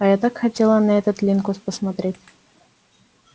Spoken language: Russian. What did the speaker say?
а я так хотела на этот линкус посмотреть